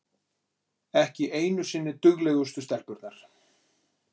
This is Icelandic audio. Ekki einu sinni duglegustu stelpurnar!